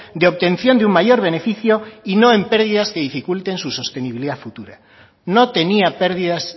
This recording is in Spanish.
de obtención de un mayor beneficio y no en pérdidas que dificulten su sostenibilidad futura no tenía perdidas